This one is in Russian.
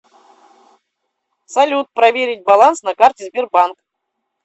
салют проверить баланс на карте сбербанк